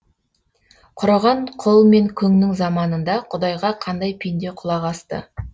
құраған құл мен күңнің заманында құдайға қандай пенде құлақ асты